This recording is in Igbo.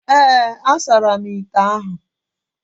Ee, a saramu ite ahụ